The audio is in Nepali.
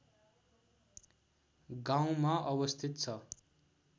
गाउँमा अवस्थित छ